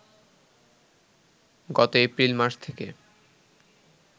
গত এপ্রিল মাস থেকে